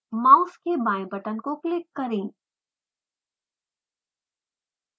mouse के बाएं button को क्लिक करें